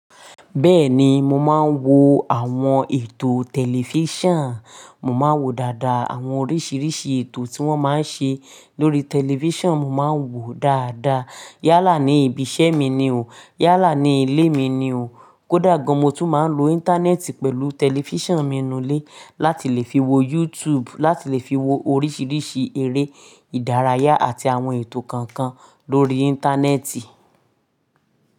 Bẹ́ẹ̀ni, mo máa ń wo àwọn ètò tẹlifíṣàn. Mo máa ń wo dáadáa àwọn oríṣiríṣi ètò tí wọ́n máa ń ṣe lórí tẹlifíṣàn. Mo máa ń wò ó dáadáa. Yálà ni ibi iṣẹ́ mi ni o. Yálà ni ilé mi ni o. Kódà gan, mo tún máa ń lo Íńtánẹ́ẹ̀tì pẹ̀lú tẹlifíṣàn mi inú ilé láti lè fi wo YouTube, láti lè fi wo oríṣiríṣi eré ìdárayá àti àwọn ètò kankan lórí Íńtánẹ́ẹ̀tì.